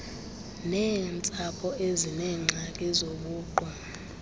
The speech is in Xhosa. neentsapho ezineengxaki zobuqu